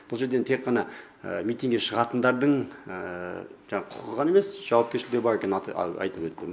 бұл жерде енді тек қана митингке шығатындардың жаңағы құқығы ғана емес жауапкершілігі бар екенін айтып өтті